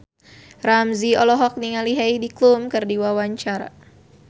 Ramzy olohok ningali Heidi Klum keur diwawancara